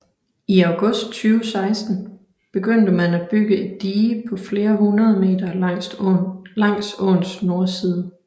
I august 2016 begyndte man at bygge et dige på flere hundrede meter langs åens nordside